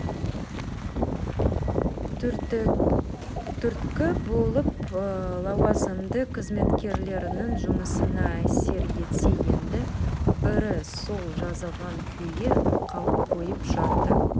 түрткі болып лауазымды қызметкерлердің жұмысына әсер етсе енді бірі сол жазылған күйі қалып қойып жатты